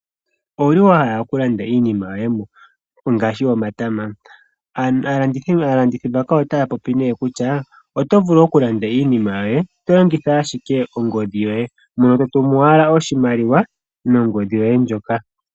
Owu li wa hala okulanda iinima yoye ngaashi omatama? Aalandithi otaya popi kutya oto vulu okulanda iinima yoye to longitha ashike ongodhi yoye , mono to tumu wala oshimaliwa nongodhi yoye ndjoka.